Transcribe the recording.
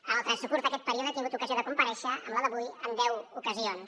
en el transcurs d’aquest període he tingut ocasió de comparèixer amb la d’avui en deu ocasions